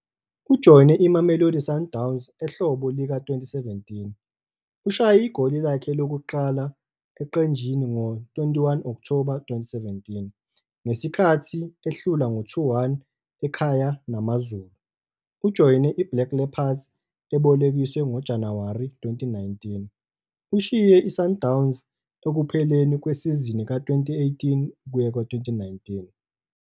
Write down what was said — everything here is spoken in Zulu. Ujoyine iMamelodi Sundowns ehlobo lika-2017. Ushaye igoli lakhe lokuqala eqenjini ngo-21 Okthoba 2017 ngesikhathi ehlulwa ngo-2-1 ekhaya naMaZulu. Ujoyine iBlack Leopards ebolekiswe ngoJanuwari 2019. Ushiye iSundowns ekupheleni kwesizini ka-2018-19.